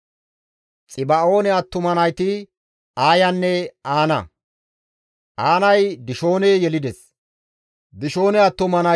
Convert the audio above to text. Aanay Dishoone yelides; Dishoone attuma nayti Hemda, Eshibaane, Yitiraanenne Kaaraane.